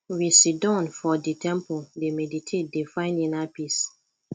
we siddon for di temple dey meditate dey find inner peace